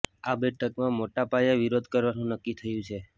આ બેઠકમાં મોટા પાયે વિરોધ કરવાનું નક્કી થયું છે